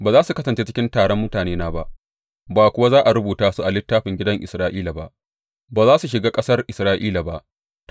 Ba za su kasance cikin taron mutanena ba, ba kuwa za a rubuta su a littafin gidan Isra’ila ba, ba za su shiga ƙasar Isra’ila ba.